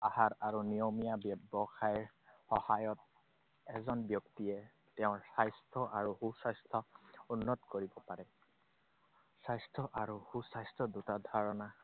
আহাৰ আৰু নিয়মীয়া ব্যৱসায়ৰ সহায়ত এজন ব্যক্তিয়ে তেওঁৰ স্বাস্থ্য আৰু সুস্বাস্থ্য উন্নত কৰিব পাৰে। স্বাস্থ্য আৰু সুস্বাস্থ্য দুটা ধাৰণা,